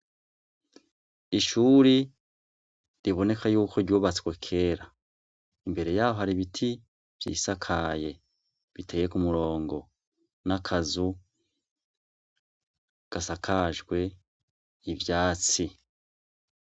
Ishuri riboneka ko ryubatswe kera imbere yaho hari ibiti vyisakaye biteye kumurongo nakazu gasakajwe ivyatsi